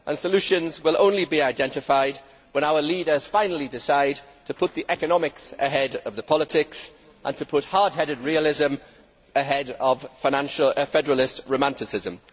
Solutions will only be identified when our leaders finally decide to put the economics ahead of the politics and hard headed realism ahead of financial federalist romanticism.